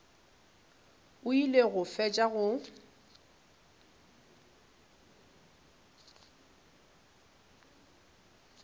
o ile go fetša go